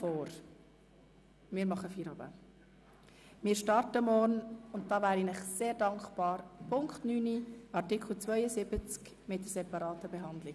Ich schlage vor, nun Feierabend zu machen, und wäre Ihnen sehr dankbar, wenn wir morgen um Punkt 09.00 Uhr starten können.